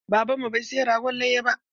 Baban mu bai saya ragon layya ba.